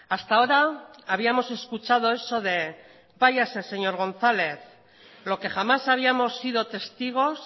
hasta ahora habíamos escuchado eso de váyase señor gonzález lo que jamás habíamos sido testigos